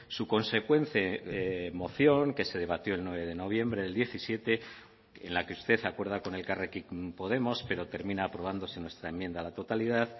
su consecuente moción que se debatió el nueve de noviembre del diecisiete en la que usted acuerda con elkarrekin podemos pero termina aprobándose nuestra enmienda a la totalidad